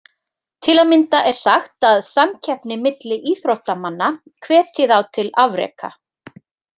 Til að mynda er sagt að samkeppni milli íþróttamanna hvetji þá til afreka.